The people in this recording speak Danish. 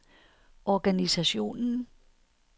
organisationen